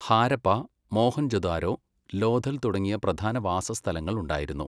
ഹാരപ്പ, മോഹൻജൊദാരോ, ലോഥൽ തുടങ്ങിയ പ്രധാന വാസസ്ഥലങ്ങൾ ഉണ്ടായിരുന്നു.